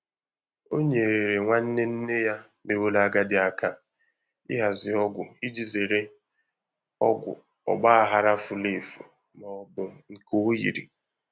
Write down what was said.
O nyeere nwanne nne ya meworo agadi aka ịhazi ọgwụ iji zere ọgwụ ọgbaghara furu efu ma ọ bụ nke oyiri.